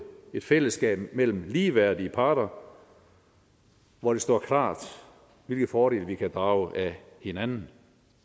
et fællesskab mellem ligeværdige parter hvor det står klart hvilke fordele vi kan drage af hinanden